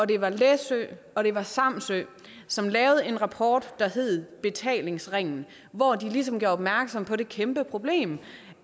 det var læsø og det var samsø som lavede en rapport der hed betalingsringen hvor de ligesom gjorde opmærksom på det kæmpe problem